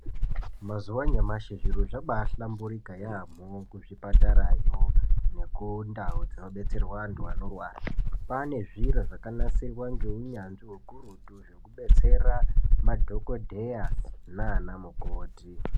Mazuwa anyamashi zviro zvambaihlamburika yambo kwane kupatarayo nekundau inobetsera vandu vanorwara kwane zviro zvakanasirwa ngeunyanzvi ukurutu zvekubetsera madhokotera nanamukoti .